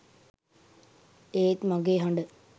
ඒත් මගේ හඬ